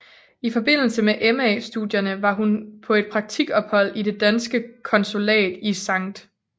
I forbindelse med MA studierne var hun på et praktikophold på det danske konsulat i Skt